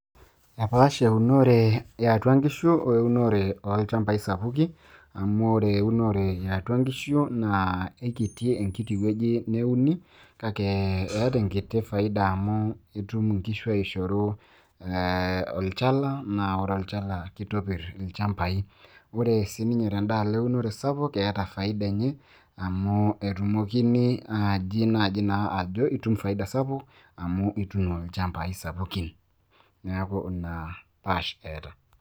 epaasha eunore ye atua nkishu, weunore oolchampai sapukie. amu ore eunore ye atua nkishu naa eikiti enkiti wueji neuni, kake eeta enkiti faida amu itum inkishu aishoru, ee olchala, naa ore olchala naa kitopir ilchampai. ore sii ninye tedaalo eunore sapuk keeta faida enye, amu etumokini naa naaji ajo itum faida sapuk .amu ituuno ilchampai sapukin. neeku ina faida eeta.